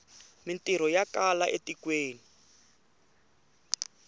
mintirho ya kala e tikweni